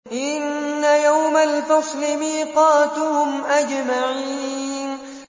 إِنَّ يَوْمَ الْفَصْلِ مِيقَاتُهُمْ أَجْمَعِينَ